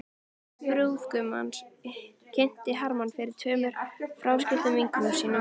Móðir brúðgumans kynnti Hermann fyrir tveimur fráskildum vinkonum sínum.